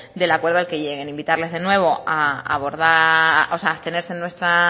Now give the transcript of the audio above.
del acuerdo al que lleguen invitarles de nuevo a abstenerse en nuestra